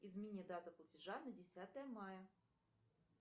измени дату платежа на десятое мая